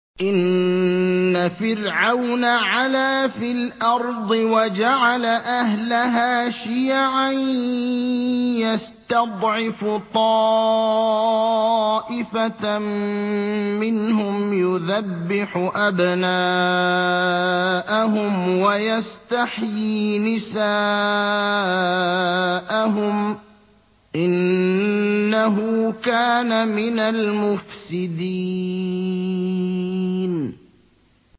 إِنَّ فِرْعَوْنَ عَلَا فِي الْأَرْضِ وَجَعَلَ أَهْلَهَا شِيَعًا يَسْتَضْعِفُ طَائِفَةً مِّنْهُمْ يُذَبِّحُ أَبْنَاءَهُمْ وَيَسْتَحْيِي نِسَاءَهُمْ ۚ إِنَّهُ كَانَ مِنَ الْمُفْسِدِينَ